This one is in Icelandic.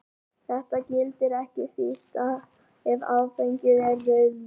Þetta gildir ekki síst ef áfengið er rauðvín.